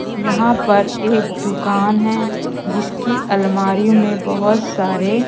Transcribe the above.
यहां पर एक दुकान हैं जिसकी अलमारी में बहुत सारे--